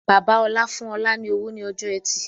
Bàbá ọ̀la fún ọ̀la ni owó ni ọjọ́ ẹtì